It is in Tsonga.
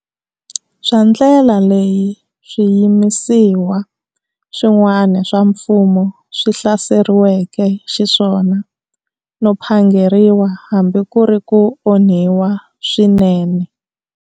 Bya ndlela leyi swiyimisiwa swin'wana swa mfumo swi hlaserisiweke xiswona, no phangeriwa hambi ku ri ku onhiwa swinene.